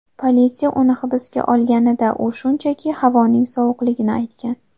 Politsiya uni hibsga olganida, u shunchaki havoning sovuqligini aytgan.